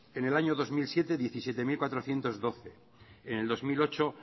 en el año dos mil siete diecisiete mil cuatrocientos doce en el dos mil ocho